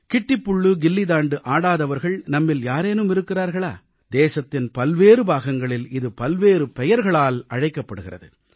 கிட்டிப் புள் கில்லி தாண்டு ஆடாதவர்கள் நம்மில் யாரேனும் இருக்கிறார்களா தேசத்தின் பல்வேறு பாகங்களில் இது பல்வேறு பெயர்களால் அழைக்கப்படுகிறது